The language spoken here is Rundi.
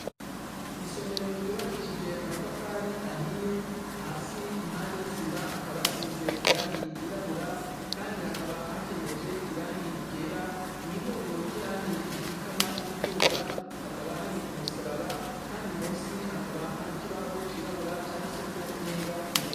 Isomero ryubakishijwe amatafari ahiye, hasi mpande y'isima hakaba hasize iragi ryirabura kandi hakaba hakenyeje iragi ryera, mwihuriro ryirage rikikama niriduga hakaba hari umusaraba kandi munsi hakaba har'ikibaho cirabura canditsweko n'ingwa yera.